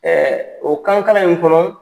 o kan kalan in kɔnɔ